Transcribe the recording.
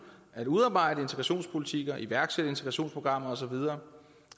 at udarbejde integrationspolitikker iværksætte integrationsprogrammer og så videre